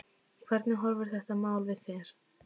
Hvernig horfir þetta mál við þér?